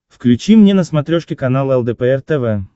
включи мне на смотрешке канал лдпр тв